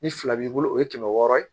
Ni fila b'i bolo o ye kɛmɛ wɔɔrɔ ye